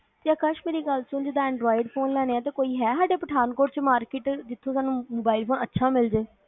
ਤੇ ਅਕਾਸ਼ ਮੇਰੀ ਗੱਲ ਸੁਣ ਜਿਹਦਾ anroid phone ਲੈਣੇ ਆ ਤੇ ਕੋਈ ਹੈ ਸਾਡੇ ਪਠਾਨਕੋਟ ਮਾਰਕੀਟ ਚ ਜਿਥੇ ਸਾਨੂੰ ਮੋਬਾਈਲ ਥੋੜਾ ਅੱਛਾ ਮਿਲਜੇ